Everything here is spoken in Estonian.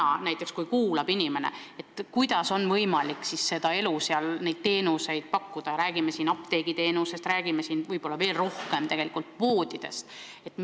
Kui inimesed meid kuulavad, siis nad tahavad teada, kuidas on võimalik maal teenuseid pakkuda – olgu jutt apteekidest või poodidest, mis on tegelikult veel tähtsamad.